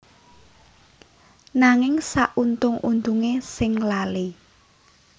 Nanging sauntung untunge sing lali